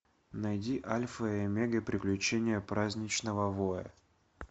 найди альфа и омега приключения праздничного воя